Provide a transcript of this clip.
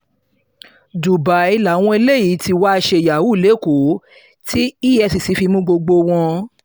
dubai làwọn eléyìí tí wàá ṣe yahoo lẹ́kọ̀ọ́ tí efcc fi mú gbogbo wọn